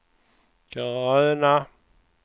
gröna